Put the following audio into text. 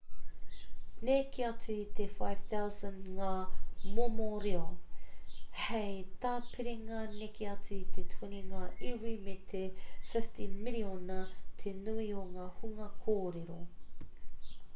neke atu i te 5,000 ngā momo reo hei tāpiringa neke atu i te 20 ngā iwi me te 50 miriona te nui o te hunga kōrero